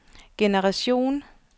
generation